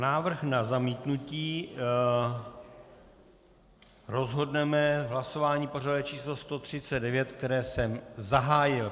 Návrh na zamítnutí rozhodneme v hlasování pořadové číslo 139, které jsem zahájil.